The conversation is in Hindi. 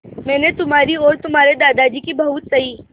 मैंने तुम्हारी और तुम्हारे दादाजी की बहुत सही